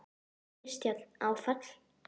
Kristján: Áfall?